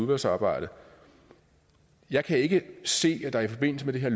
udvalgsarbejdet jeg kan ikke se at der i forbindelse med det her